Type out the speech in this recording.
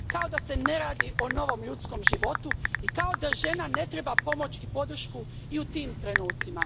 Kao da se ne radi o novom ljudskom životu i kao da žena ne treba pomoć i podršku i u tim trenutcima.